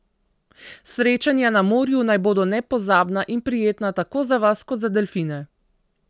Srečanja na morju naj bodo nepozabna in prijetna tako za vas kot za delfine.